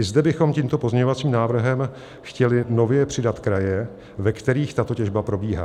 I zde bychom tímto pozměňovacím návrhem chtěli nově přidat kraje, ve kterých tato těžba probíhá.